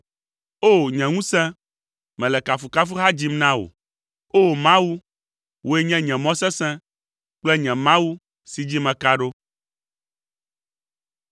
O! Nye ŋusẽ, mele kafukafuha dzim na wò. O! Mawu, wòe nye nye mɔ sesẽ kple nye Mawu si dzi meka ɖo.